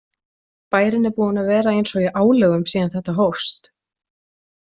Bærinn er búinn að vera eins og í álögum síðan þetta hófst.